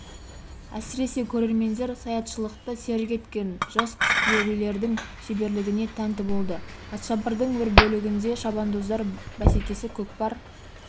әсіресе көрермендер саятшылықты серік еткен жас құсбегілердің шеберлігіне тәнті болды атшабардың бір бөлігінде шабандоздар бәсекесі көкпар